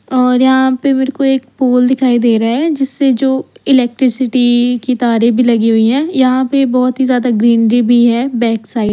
और यहां पे मेरे को एक पोल दिखाई दे रहा है जिसे जो इलेक्ट्रिसिटी की तारे भी लगी हुई है यहां पे बहोत ही ज्यादा ग्रीनरी भी है बैक साइड --